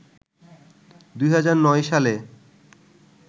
২০০৯ সালে